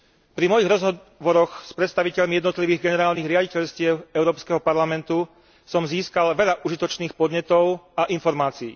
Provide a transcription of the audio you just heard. Pri mojich rozhovoroch s predstaviteľmi jednotlivých generálnych riaditeľstiev Európskeho parlamentu som získal veľa užitočných podnetov a informácií.